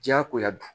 Diyagoya don